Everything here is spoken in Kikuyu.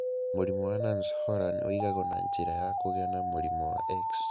Mũrimũ wa Nance Horan ũigagwo na njĩra ya kũgĩa na mũrimũ wa X.